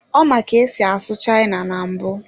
Ọ ma ka esi asụ China na mbụ.